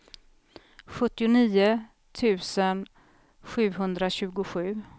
sjuttionio tusen sjuhundratjugosju